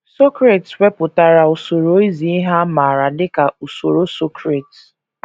Socrates wepụtara usoro izi ihe a maara dị ka usoro Socrates.